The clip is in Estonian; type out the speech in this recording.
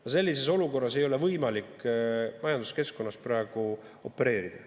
Ja sellises olukorras ei ole võimalik majanduskeskkonnas praegu opereerida.